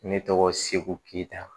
Ne tɔgɔ segu keyita